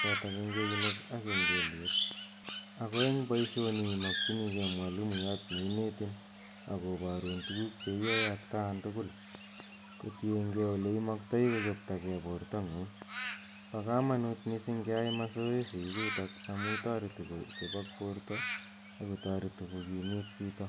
chotok eng' keunek ak eng' keliek. Ak eng' poishoni imakchinigei mwalimuyat ne inetin ak koparun tuguk che yae atkan tugul kotiengei ole imaktai kochoptagei portang'ung'. Pa kamanut missing' keyai masoesi ichutok amu tareti kochopak porto ak kotareti ko kimit chito.